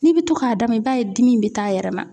N'i bɛ to k'a d'a ma i b'a ye dimi bɛ t'a yɛrɛ ma.